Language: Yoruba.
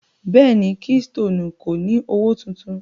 Bẹ́ẹ̀ni, Keystoni kò ni ọwọ́ tuntun.